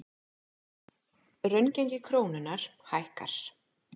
Raungengi krónunnar hækkar